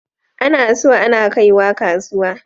Ana so ana kaiwa kasuwa.